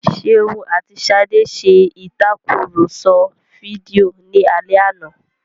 Ṣeun àti Ṣadé ṣe ìtakùrọ̀sọ fídíò ní alẹ́ àná